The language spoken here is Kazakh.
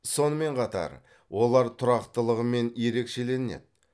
сонымен қатар олар тұрақтылығымен ерекшеленеді